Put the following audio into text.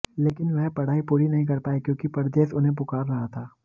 लेकिन वह पढ़ाई पूरी नहीं कर पाए क्योंकि परदेस उन्हें पुकार रहा था